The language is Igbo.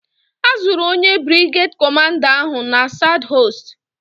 A zụrụ onye brigeed kọmanda ahụ na Sadhọọst.